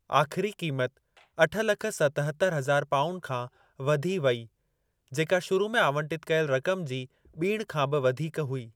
आखिरी कीमत अठ लख सतहतरि हज़ार पाउंड खां वधी वई, जेका शुरु में आवंटित कयल रकम जी ॿीण खां बि वधीक हुई।